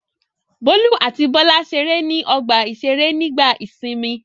Bólú àti Bọ́lá ṣeré ní ọgbà-ìṣeré nígbà ìsìnmi?